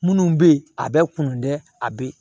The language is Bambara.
Minnu bɛ yen a bɛ kunun dɛ a bɛ